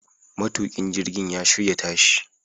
Matukin jirgin ya shirya tashi